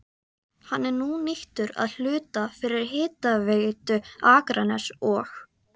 Hann er nú nýttur að hluta fyrir Hitaveitu Akraness og